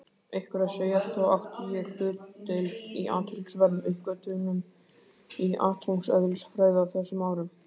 Ykkur að segja, þá átti ég hlutdeild í athyglisverðum uppgötvunum í atómeðlisfræði á þessum árum.